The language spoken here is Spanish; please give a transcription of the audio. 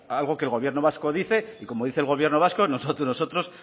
algo que el gobierno vasco dice y como dice el gobierno vasco nosotros